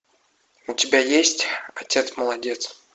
у тебя есть отец молодец